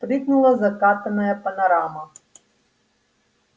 прыгнула закатанная панорама